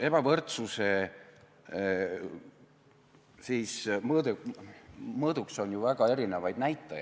Ebavõrdsuse mõõduks on ju väga erinevad näitajad.